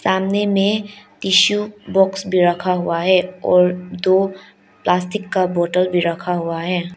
सामने में tissue box भी रखा हुआ है और दो प्लास्टिक का बोटल भी रखा हुआ है।